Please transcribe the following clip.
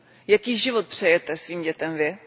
Jaký život přejete svým dětem vy?